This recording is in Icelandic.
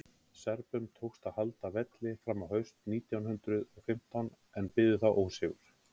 serbum tókst að halda velli fram á haust nítján hundrað og fimmtán en biðu þá ósigur